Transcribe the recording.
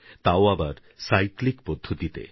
তাও আবার সাইক্লিক পদ্ধতিতে